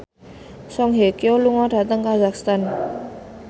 Song Hye Kyo lunga dhateng kazakhstan